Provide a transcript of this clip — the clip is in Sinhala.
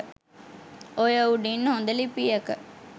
ඔය උඩින් හොඳ ලිපියක